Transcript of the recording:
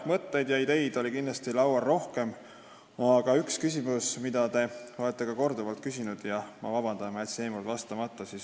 Mõtteid ja ideid on kindlasti rohkem laual olnud, aga on üks küsimus, mida te olete korduvalt küsinud – palun vabandust, et ma jätsin eelmine kord vastamata.